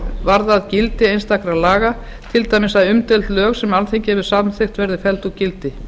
varðað gildi einstakra laga til dæmis að umdeild lög sem alþingi hefur samþykkt verði felld úr gildi